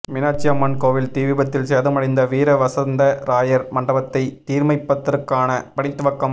மீனாட்சி அம்மன் கோவில் தீவிபத்தில் சேதமடைந்த வீர வசந்த ராயர் மண்டபத்தை தீர்மைப்பதற்கான பணி துவக்கம்